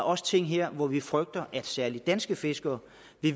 også ting her hvor vi frygter at særligt danske fiskere